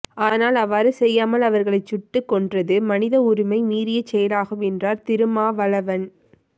ஆனால் அவ்வாறு செய்யாமல் அவர்களை சுட்டு கொன்றது மனித உரிமை மீறிய செயலாகும் என்றார் திருமாவளவன்